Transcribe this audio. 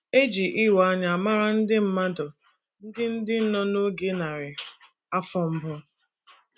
E ji ịwa anya mara ndị mmadụ ndị ndị nọ oge narị afọ mbụ.